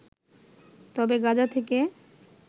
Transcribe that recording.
তবে গাজা থেকে